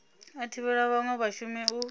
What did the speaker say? a thivhela vhanwe vhashumi u